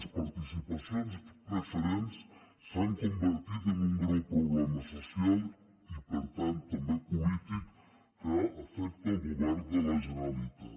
les participacions preferents s’han convertit en un greu problema social i per tant també polític que afecta el govern de la generalitat